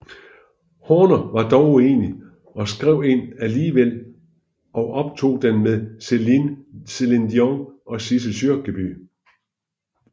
Horner var dog uenig og skrev en alligevel og optog den med Celine Dion og Sissel Kyrkjebø